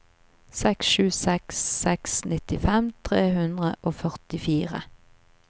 seks sju seks seks nittifem tre hundre og førtifire